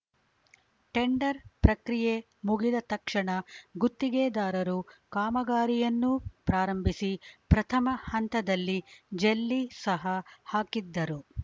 tender ಪ್ರಕ್ರಿಯೆ ಮುಗಿದ ತಕ್ಷಣ ಗುತ್ತಿಗೆದಾರರು ಕಾಮಗಾರಿಯನ್ನೂ ಪ್ರಾರಂಭಿಸಿ ಪ್ರಥಮ ಹಂತದ ಜಲ್ಲಿ ಸಹ ಹಾಕಿದ್ದರು